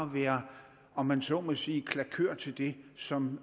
være om man så må sige klakør til det som